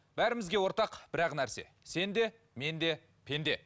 бәрімізге ортақ бір ақ нәрсе сен де мен де пенде